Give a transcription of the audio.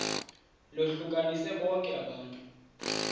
lohlukanise bonke abantu